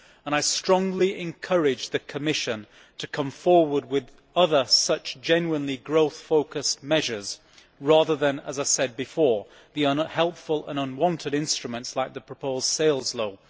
I strongly encourage the Commission to come forward with other such genuinely growth focused measures rather than as I said before unhelpful and unwanted instruments like the proposed sales law.